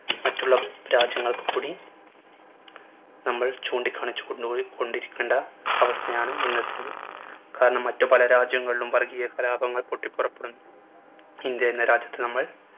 മറ്റുള്ള രാജ്യങ്ങൾക്ക് കൂടി നമ്മൾ ചൂണ്ടിക്കാണിച്ചുകൊണ്ട് കൊണ്ടിരിക്കേണ്ട അവസ്ഥയാണ് ഇന്നത്തേത്. കാരണം മറ്റു പല രാജ്യങ്ങളിലും വർഗീയ കലാപങ്ങൾ പൊട്ടിപ്പൊറപ്പെടുന്നു ഇന്ത്യ എന്ന രാജ്യത്ത് നമ്മൾ